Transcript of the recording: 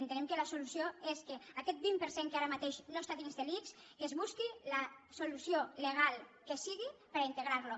entenem que la solució és que aquest vint per cent que ara mateix no està dins de l’ics que es busqui la solució legal que sigui per integrar lo